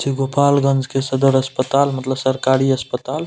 छी गोपालगंज के सदर अस्पताल मतलब सरकारी अस्पताल।